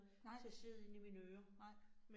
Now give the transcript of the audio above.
Nej. Nej